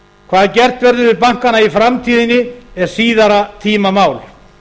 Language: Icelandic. hvað gert verður við bankana í framtíðinni er síðari tíma mál